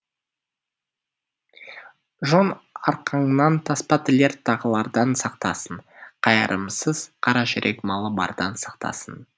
жон арқаңнан таспа тілер тағылардан сақтасын қайырымсыз қара жүрек малы бардан сақтасын